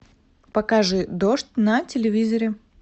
покажи дождь на телевизоре